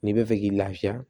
N'i bɛ fɛ k'i lafiya